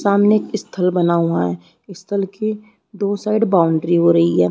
सामने एक स्थल बना हुआ स्थल के दो साइड बाउंड्री हो रही है।